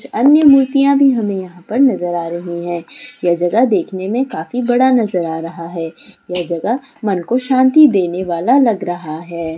अन्य मूर्तियाँ भी हमें यहाँ पर नजर आ रही है यह जगह देखने में काफी बड़ा नजर आ रहा है यह जगह मन को शांति देने वाला लग रह है।